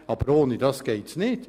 Aber ohne das geht es nicht.